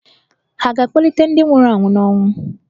À ga-akpọlite ​​ndị nwụrụ anwụ n'ọnwụ?